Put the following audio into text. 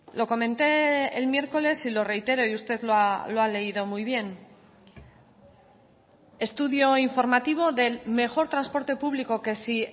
lo comenté el miércoles y lo reitero y usted lo ha leído muy bien estudio informativo del mejor transporte público que si